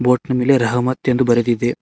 Boat ನ ಮೇಲೆ ರಹಮತ ಎಂದು ಬರೆದಿದೆ.